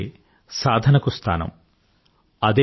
ఆ కొత్త శక్తే సాధనకు స్థానం